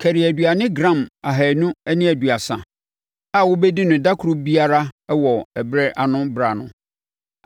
Kari aduane gram ahanu ne aduasa (230) a wobɛdi no ɛda koro biara wɔ ɛberɛ ano, berɛ ano.